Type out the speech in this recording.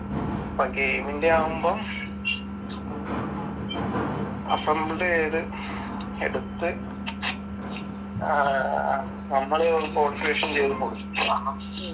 ഇപ്പം ഗെയിമിന്റെ ആവുമ്പം അസംബിൾ ചെയ്ത് എടുത്ത് അഹ് നമ്മള് കോൺഫിഗേഷൻ ചെയ്ത് കൊടുക്കണം.